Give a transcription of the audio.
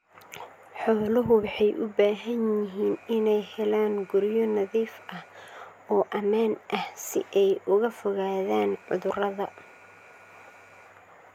Xooluhu waxay u baahan yihiin inay helaan guryo nadiif ah oo ammaan ah si ay uga fogaadaan cudurrada.